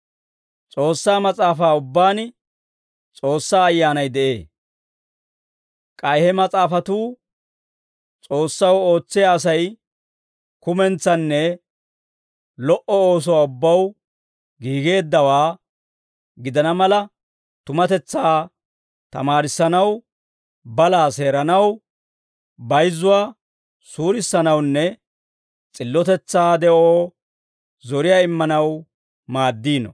S'oossaa Mas'aafaa ubbaan S'oossaa Ayyaanay de'ee. K'ay he mas'aafatuu S'oossaw ootsiyaa Asay kumentsanne lo"o oosuwaa ubbaw giigeeddawaa gidana mala, tumatetsaa tamaarissanaw, balaa seeranaw, bayizzuwaa suurissanawunne s'illotetsaa de'oo zoriyaa immanaw maaddiino.